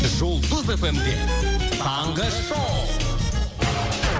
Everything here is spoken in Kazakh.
жұлдыз эф эм де таңғы шоу